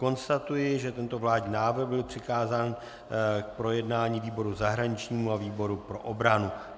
Konstatuji, že tento vládní návrh byl přikázán k projednání výboru zahraničnímu a výboru pro obranu.